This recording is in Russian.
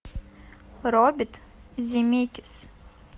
роберт земекис